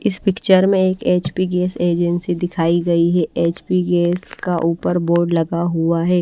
इस पिक्चर में एक एच_पी गैस एजेंसी दिखाई गई है एच_पी गैस का ऊपर बोर्ड लगा हुआ है।